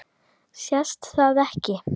Sést það ekki?